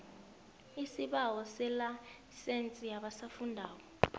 isibawo selayisense yabasafundako